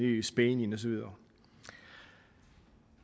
i spanien og så videre